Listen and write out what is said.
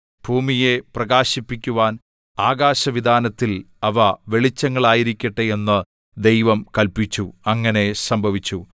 ഭൂമിയെ പ്രകാശിപ്പിക്കുവാൻ ആകാശവിതാനത്തിൽ അവ വെളിച്ചങ്ങളായിരിക്കട്ടെ എന്നു ദൈവം കല്പിച്ചു അങ്ങനെ സംഭവിച്ചു